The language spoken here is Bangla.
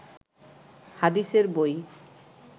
হাদিসের বই